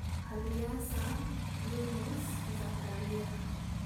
Alyasa (Elisha), Yunus (Jona), Zakariya (Zekariah).